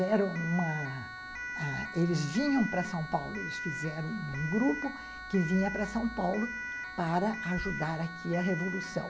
Eles vinham para São Paulo, eles fizeram um grupo que vinha para São Paulo para ajudar aqui a revolução.